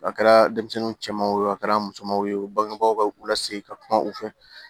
A kɛra denmisɛnninw cɛman wo a kɛra musoman ye wo bangebaw lase ka kuma u fɛ